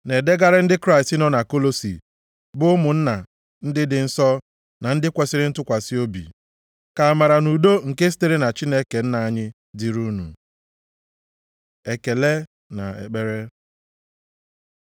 Na-edegara ndị Kraịst nọ na Kọlọsị, bụ ụmụnna ndị dị nsọ na ndị kwesiri ntụkwasị obi. Ka amara na udo nke sitere na Chineke Nna anyị dịrị unu. Ekele na ekpere